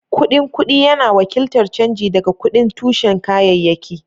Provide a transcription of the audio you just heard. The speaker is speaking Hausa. Kuɗin kuɗi yana wakiltar canji daga kuɗin tushen kayayyaki.